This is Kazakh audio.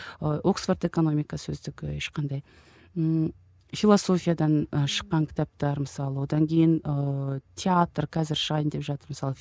ы оскфорд экономика сөздігі ешқандай ммм философиядан ы шыққан кітаптар мысалы одан кейін ыыы театр қазір шығайын деп жатыр мысалы